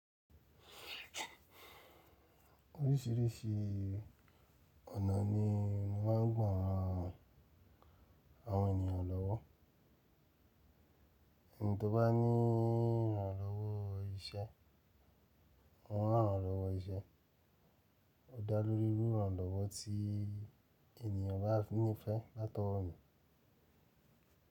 Orísìírísìí ọ̀nà ni wọ́n ń gbà àwọn ènìyàn lọ́wọ́. In tó bá níi ìrànlọ́wọ́ iṣẹ́, wọn á ran lọ́wọ́ iṣẹ́, ó dá lórí irú ìrànlọ́wọ́ tí ènìyàn bá nífẹ̀ẹ́ látọ̀wọ mi.